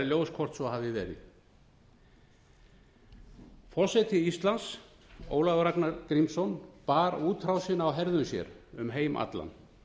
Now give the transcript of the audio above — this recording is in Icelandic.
ljós hvort svo hafi verið forseta íslands ólafur ragnar grímsson bar útrásina á herðum sér um heim allan